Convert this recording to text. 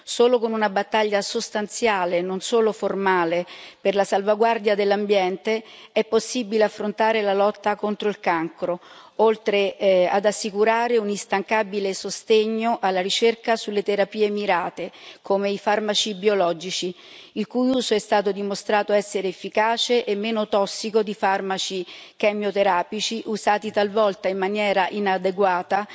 Solo con una battaglia sostanziale, non solo formale, per la salvaguardia dell'ambiente è possibile affrontare la lotta contro il cancro, oltre ad assicurare un instancabile sostegno alla ricerca sulle terapie mirate, come i farmaci biologici, il cui uso è stato dimostrato essere efficace e meno tossico di farmaci chemioterapici usati talvolta in maniera inadeguata,